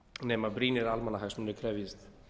nema brýnir almannahagsmunir krefjist